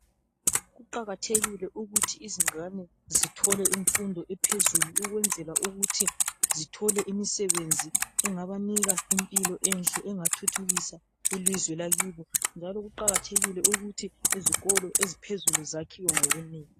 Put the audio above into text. Kuqakathekile ukuthi izingane zithole imfundo ephezulu ukwenzela ukuthi zithole imisebenzi engabanika impilo enhle engathuthukisa ilizwe lakibo njalo kuqakathekile ukuthi izikolo eziphezulu zakhiwe ngobunengi.